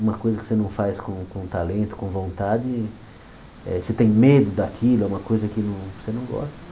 Uma coisa que você não faz com com talento, com vontade, eh você tem medo daquilo, é uma coisa que não você não gosta.